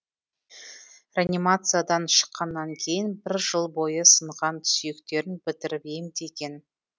реанимациядан шыққаннан кейін бір жыл бойы сынған сүйектерін бітіріп емдеген